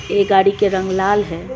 ये गाड़ी के रंग लाल है।